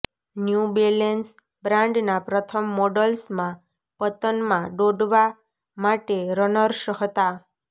new Balance બ્રાન્ડના પ્રથમ મોડલ્સમાં પતનમાં દોડવા માટે રનર્સ હતા